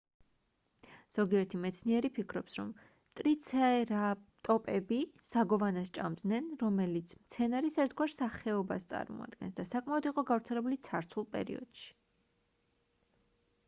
ზოგიერთი მეცნიერი ფიქრობს რომ ტრიცერატოპები საგოვანას ჭამდნენ რომელიც მცენარის ერთგვარ სახეობას წარმოადგენს და საკმაოდ იყო გავრცელებული ცარცულ პერიოდში